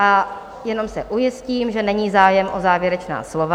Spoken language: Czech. A jenom se ujistím, že není zájem o závěrečná slova?